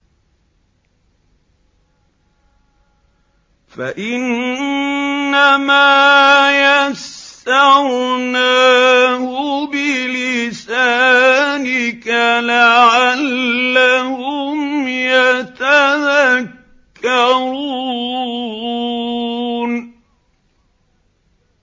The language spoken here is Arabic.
فَإِنَّمَا يَسَّرْنَاهُ بِلِسَانِكَ لَعَلَّهُمْ يَتَذَكَّرُونَ